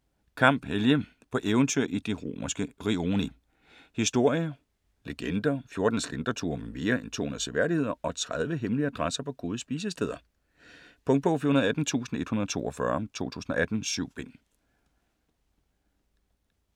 Kamp, Helge: På eventyr i de romerske rioni: historier, legender, 14 slentreture med mere end 200 seværdigheder og 30 hemmelige adresser på gode spisesteder Punktbog 418142 2018. 7 bind.